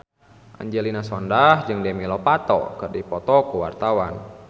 Angelina Sondakh jeung Demi Lovato keur dipoto ku wartawan